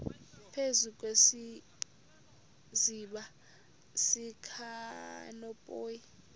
phezu kwesiziba sikanophoyi